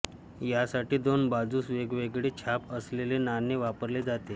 यासाठी दोन बाजूस वेगवेगळे छाप असलेले नाणे वापरले जाते